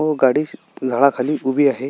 व गाडी अशी झाडाखाली उभी आहे.